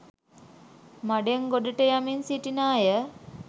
මඩෙන් ගොඩට යමින් සිටින අය